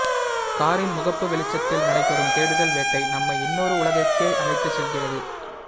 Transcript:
காரின் முகப்பு வெளிச்சத்தில் நடைபெறும் தேடுதல் வேட்டை நம்மை இன்னொரு உலகிற்கே அழைத்துச் செல்கிறது